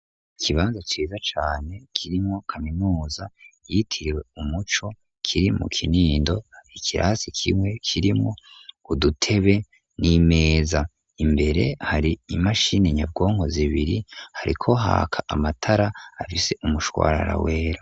Ikiibanza ciza cane kirimwo kaminuza yitiriwe "Umuco ", kiri mu Kinindo. Ikirasi kimwe kirimwo udutebe n'imeza. Imbere har'imashini nyabwonko zibiri. Hariko haka amatara afise umushwarara wera.